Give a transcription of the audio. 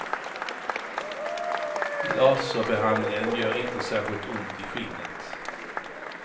Laserbehandlingen gör inte särskilt ont i skinnet.